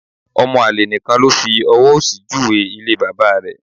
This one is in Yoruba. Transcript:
Ọmọ àlè nìkan ló fi ọwọ́ òsì júwe ilé bàbá rẹ̀